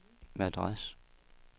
Madras